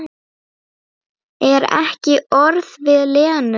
En ekki orð við Lenu.